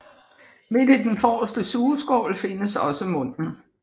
Midt i den forreste sugeskål findes også munden